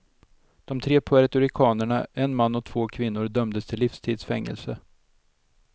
De tre puertoricanerna, en man och två kvinnor dömdes till livstids fängelse.